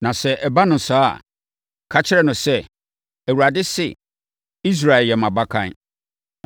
Na sɛ ɛba no saa a, ka kyerɛ no sɛ, ‘ Awurade se, Israel yɛ mʼabakan